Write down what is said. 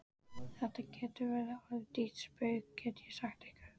Þetta getur orðið ykkur dýrt spaug, get ég sagt ykkur!